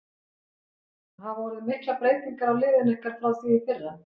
Hafa orðið miklar breytingar á liðinu ykkar frá því í fyrra?